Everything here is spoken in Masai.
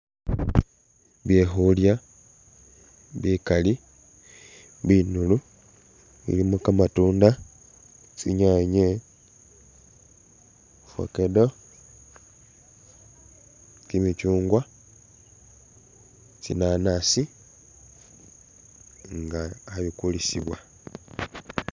Byekhulya bikali binulu mulimo kmatunda, tsinyanye, fakedo, kimikyungwa, tsinanasi, nga khebikulisiwa.